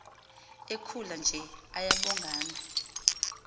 ekhula nje ayabongana